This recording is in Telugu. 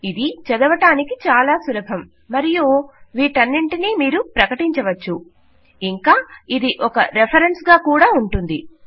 ఇది చదవడానికి చాలా సులభం మరియు వీటన్నింటినీ మీరు ప్రకటించవచ్చు మరియు ఇది ఒక రెఫరెన్స్ గా ఉంటుంది